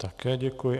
Také děkuji.